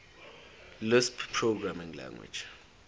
lisp programming language